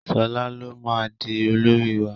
Shola ló má dì olórí wá!